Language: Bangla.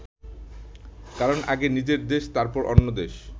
কারণ আগে নিজের দেশ, তারপর অন্য দেশ।